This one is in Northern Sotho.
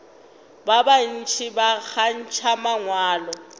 ba bantši ba kgantšha mangwalo